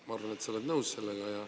Ma arvan, et sa oled nõus sellega.